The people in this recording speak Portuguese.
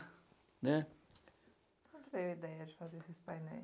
né. Por que a ideia de fazer esses painéis?